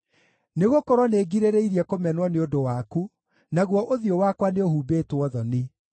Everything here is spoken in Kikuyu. Nĩgũkorwo nĩngirĩrĩirie kũmenwo nĩ ũndũ waku, naguo ũthiũ wakwa nĩũhumbĩtwo thoni.